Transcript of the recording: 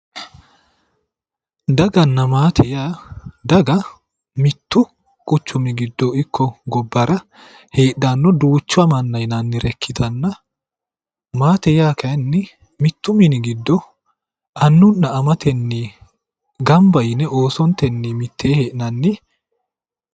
Daganna maate yaa ,daga mittu quchumi giddo ikko gobbara heedhanno duucha manna yinannire ikkitanna ,maatte yaa kayiinni mittu minni giddo annunna amatenni ganba yine oosontee mitteenni hee'nanni.